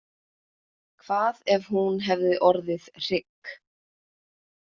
Hvað ef hún hefði orðið hrygg?